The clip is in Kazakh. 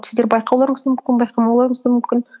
сіздер байқауларыңыз да мүмкін байқамауларыңыз да мүмкін